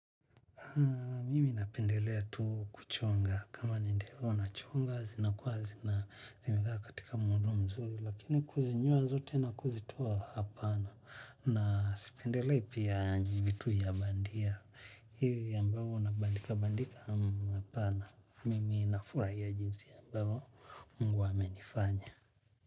Mimi napendelea tu kuchonga. Kama ni ndevu nachonga, zinakuwa zina zimekaa katika muundo mzuri, lakini kuzinyoa zote na kuzitoa, hapana. Na sipendelei pia ndevu tu ya bandia. Hivi ambavyo unabandika bandika hapana. Mimi nafurahia jinsi ambavyo mungu amenifanya.